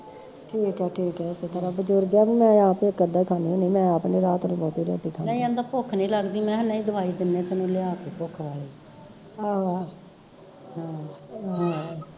ਠੀਕ ਆ ਠੀਕ ਐ ਏਸੇ ਤਰਾਂ ਬਜ਼ੁਰਗ ਐ ਤੇ ਮੈਂ ਆਪ ਇੱਕ ਅੱਧਾ ਖਾਂਦੀ ਹੁੰਦੀ ਮੈਂ ਆਪ ਨੀ ਰਾਤ ਨੂੰ ਰੋਟੀ ਰੁਟੀ ਖਾਂਦੀ ਆਹੋ ਆਹੋ